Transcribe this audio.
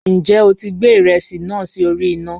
Njẹ o ti gbẹ iresi naa si ori ina?